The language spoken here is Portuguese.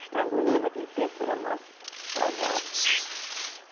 Estrangulou naquele tempo, era mais atrasado.